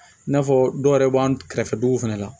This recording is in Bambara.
I n'a fɔ dɔw yɛrɛ b'an kɛrɛfɛ dugu fana la